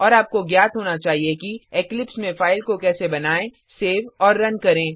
और आपको ज्ञात होना चाहिए कि इक्लिप्स में फाइल को कैसे बनाएँ सेव और रन करें